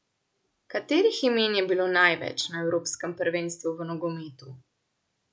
Katerih imen je bilo največ na evropskem prvenstvu v nogometu?